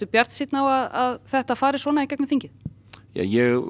bjartsýnn á að þetta fari í gegn ég